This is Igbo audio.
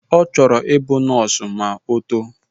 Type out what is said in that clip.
Ọ chọrọ ịbụ nọọsụ ma o too